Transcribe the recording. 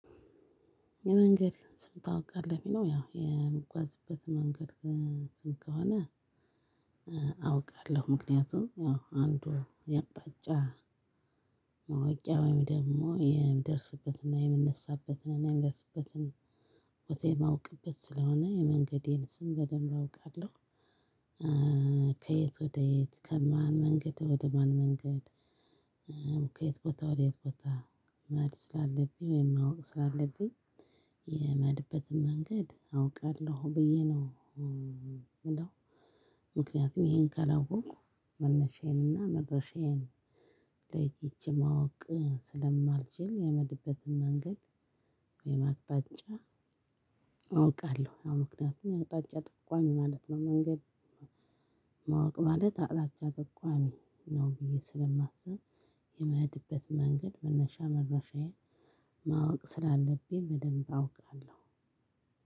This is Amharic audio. የመንገድ ስም ታውቃለህ የሚለው ያው የምጓዝበት መንገድ ስም ከሆነ? አውቃለሁ ምክንያቱም ያው አንዱ የቅጣጫ ማወቃያ ወይም የግሞ የምደርስበትንና የምነሳበትንና የምደርስበትን ቦታ የማውቅበት ስለሆነ የመንገዴን ስም በደንብ አውቃለሁ። ከየት ወደ የት ከማን መንገድ ወደ ማን መንገድ? ከየት ቦታ ወደ የት ቦታ? መሄድ ስላለብኝ ወይም ማወቅ ስላለብኝ የምሄድበትን መንገድ አውቃለሁ ብዬ ነው ምለው። ምክንያቱም ይሄን ካላወኩ መነሻዬን እና መድረሻዬን ለይቼ ማወቅ ስለማልችል የምሄድበትን መንገድ ወይም አቅጣጫ። አውቃለሁ ያው ምክንያቱም አቅጣጫ ጥቋሚ ማለት ነው መንገድ። ማወቅ ማለት አቅጣጫ ጥቋሚ ነው ብዬ ስለማስብ የመሄድበት መንገድ መነሻ መድረሻዬ ማወቅ ስላለብኝ በደንብ አውቃለሁ።